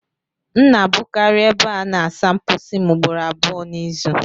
M na-abụkarị ebe a na-asa mposi m ugboro abụọ n'izu